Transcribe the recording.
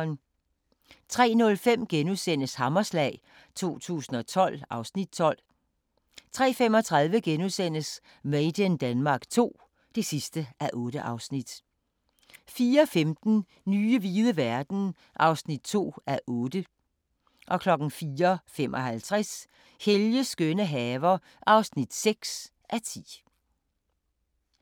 03:05: Hammerslag 2012 (Afs. 12)* 03:35: Made in Denmark II (8:8)* 04:15: Nye hvide verden (2:8) 04:55: Helges skønne haver (6:10)